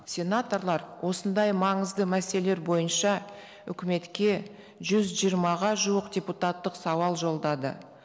сенаторлар осындай маңызды мәселелер бойынша үкіметке жүз жиырмаға жуық депутаттық сауал жолдады